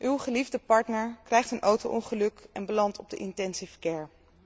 Uw geliefde partner krijgt een auto ongeluk en belandt op de intensive care.